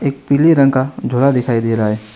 एक पीले रंग का झोला दिखाई दे रहा है।